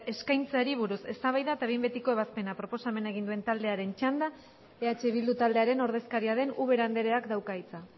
eskaintzeari buruz eztabaida eta behin betiko ebazpena proposamena egin duen taldearen txanda eh bildu taldearen ordezkaria den ubera andreak dauka hitza